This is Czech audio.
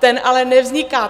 Ten ale nevzniká.